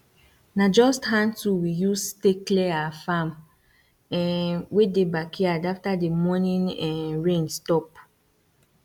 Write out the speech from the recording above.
na just hand tool we use tay clear our farm um wey dey backyard after the morning um rain stop